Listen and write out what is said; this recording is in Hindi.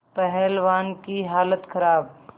पहलवान की हालत खराब